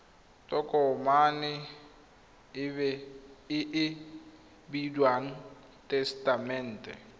tokomane e e bidiwang tesetamente